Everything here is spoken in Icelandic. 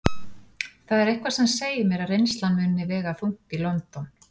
Það er eitthvað sem segir mér að reynslan muni vega þungt í London.